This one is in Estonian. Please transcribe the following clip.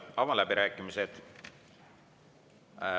Avan läbirääkimised.